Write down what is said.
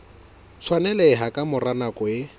tshwaneleha ka mora nako e